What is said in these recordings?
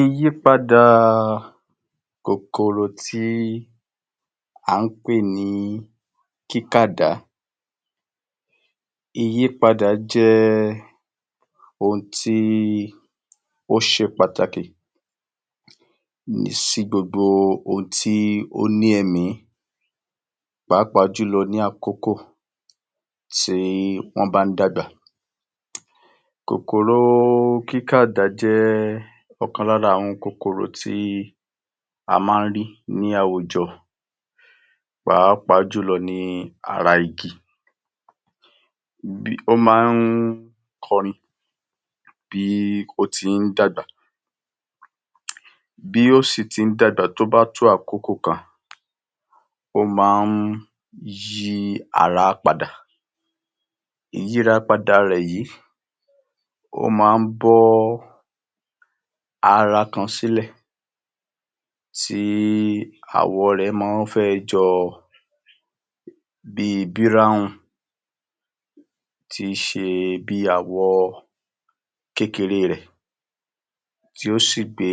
Ìyípadà kòkòrò tí à ń pè ní kíkàdá Ìyípadà jẹ́ ohun tí ó ṣe pàtàkì sí gbogbo ohun tí o ní ẹ̀mí pàápàá jùlọ ní àkókò tí wọ́n bá n dàgbà. Kòkòrò kíkàdá jẹ́ ọ̀kan lára àwọn kòkòrò tí a má ń rí láwùjọ pàápàá jùlọ ní ara igi. Ó ma ń kọrin bí ó ti n dàgbà. Bí o sì tí n dàgbà tó ba to àkókò kàn, o má n yí ara padà. Ìyípadà rẹ̀ yìí, o má n bọ́ ara kan sílẹ̀ tí àwọ̀ rẹ̀ má n fẹ́ jọ́ bíì bíráun tí n ṣé bí àwọ̀ kékeré rẹ̀, tí o sì gbé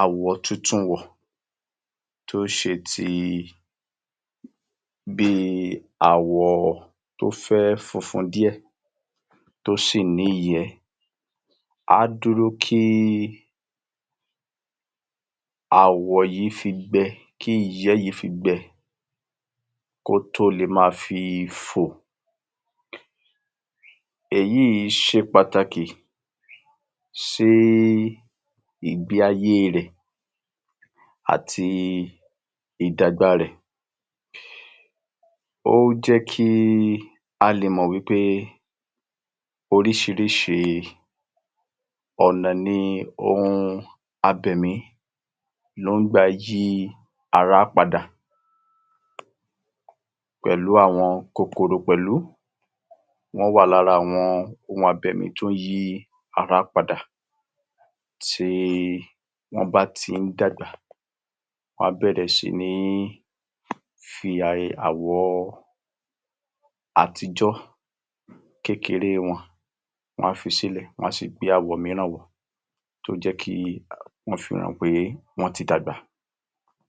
àwọ̀ tuntun wọ̀, tó ṣe ti bí àwọ̀ tó fẹ fúnfún díẹ tó sì ní ìyẹ́. Á dúró kí àwọ̀ yìí fi gbẹ ki iyẹ yìí fi gbẹ kó to lè máa fí fò. Èyí ṣé pàtàkì sí ìgbé ayé rẹ̀ àti ìdàgbà rẹ̀. Ó jẹ́ ki a lè mọ́ pé oríṣiríṣi ọ̀nà ní ohun abẹ̀mí ló n gbà yí ara padà pẹ̀lú àwọn kòkòrò pẹ́lú wọn wà lára àwọn ohun àbẹ̀mí tó n yí ara padà tí wọn bá tí ń dágbà. wọn á bẹrẹ̀ sí ni fí àwọ̀ atíjọ́ kékeré wọn, wọn á sì gbé àwọ̀ míràn wọ̀ tó jẹ kí wọn fí hàn pé wọn tí dàgbà